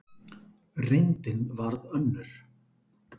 Reyndin varð önnur.